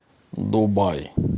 дубай